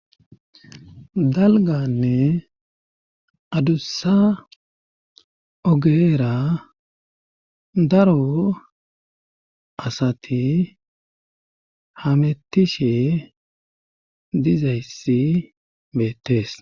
Dalganne adussa ogeera daro asati hamettishe dizayssi beettes.